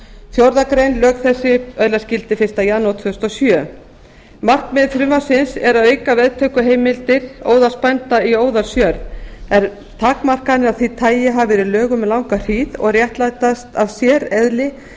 fjórðu grein lög þessi öðlast gildi fyrsta janúar tvö þúsund og sjö markmið frumvarpsins er að auka veðtökuheimildir óðalsbænda í óðalsjörð en takmarkanir af því tagi hafa verið í lögum um langa hríð og réttlætast af séreðli eignarformsins